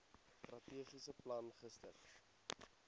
strategiese plan gister